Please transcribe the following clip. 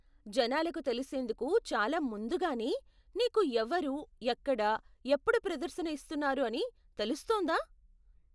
జనాలకు తెలిసేందుకు చాలా ముందుగానే నీకు ఎవరు, ఎక్కడ, ఎప్పుడు ప్రదర్శన ఇస్తున్నారు అని తెలుస్తుందా?